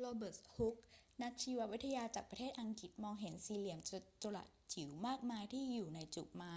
โรเบิร์ต ฮุก นักชีววิทยาจากประเทศอังกฤษมอง เห็นสี่เหลี่ยมจัตุรัสจิ๋วมากมายที่อยู่ในจุกไม้